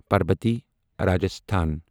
Parbati Rajasthan